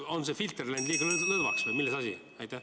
Kas filter on läinud liiga lõdvaks või milles asi?